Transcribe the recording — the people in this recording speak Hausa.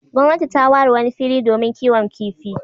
Gwamnati ta ware wani fili domin kiwon kifi.